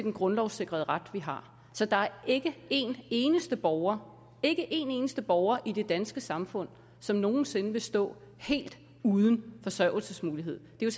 en grundlovssikret ret man har så der er ikke én eneste borger ikke en éneste borger i det danske samfund som nogen sinde vil stå helt uden forsørgelsesmulighed det er